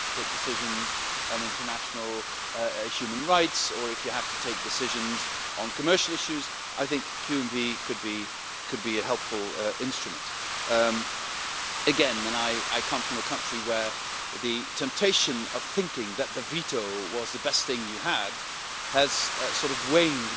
If you have to take decisions on international human rights, or if you have to take decisions on commercial issues, I think QMV could be a helpful instrument. Again, and I come from a country where the temptation of thinking that the veto was the best thing you had has sort of waned.